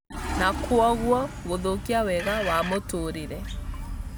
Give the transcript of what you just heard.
na kwoguo gũthũkia wega wa mũtũũrĩre.